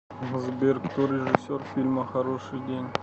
сбер кто режиссер фильма хороший день